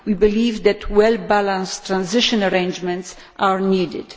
We believe that well balanced transitional arrangements are needed.